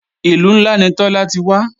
Ìlú ńlá ni Tọ́lá ti wá